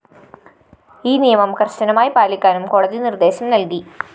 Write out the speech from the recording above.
ഈ നിയമം കര്‍ശനമായി പാലിക്കാനും കോടതി നിര്‍ദ്ദേശം നല്‍കി